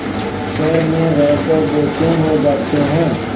घर में रहकर बेचैन हो जाते हैं